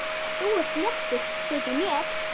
Þú ert léttur, þykir mér!